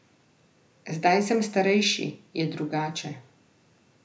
Zdaj sem starejši, je drugače.